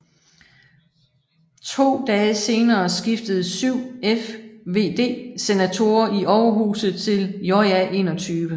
To dage senere skiftede 7 FvD senatorer i overhuset til JA21